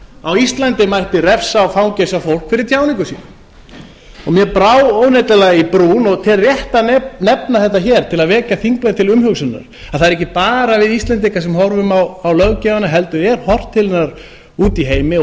á íslandi mætti refsa og fangelsa fólk fyrir tjáningu sína mér brá óneitanlega í brún og tel rétt að nefna þetta hér til að vekja þingmenn til umhugsunar að það eru ekki bara við íslendingar sem horfum á löggjöfina heldur er horft til hennar úti í